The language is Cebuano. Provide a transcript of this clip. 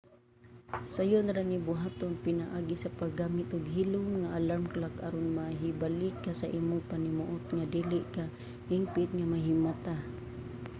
sayon ra ni buhaton pinaagi sa paggamit og hilom nga alarm clock aron mahibalik ka sa imong panimuot nga dili ka hingpit nga mahimata